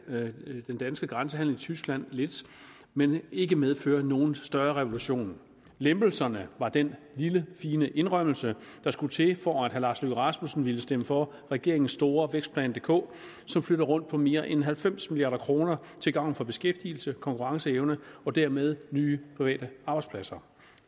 den danske grænsehandel i tyskland lidt men ikke medføre nogen større revolution lempelserne var den lille fine indrømmelse der skulle til for at herre lars løkke rasmussen ville stemme for regeringens store vækstplan dk som flytter rundt på mere end halvfems milliard kroner til gavn for beskæftigelse konkurrenceevne og dermed nye private arbejdspladser